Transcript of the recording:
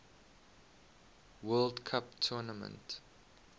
world cup tournament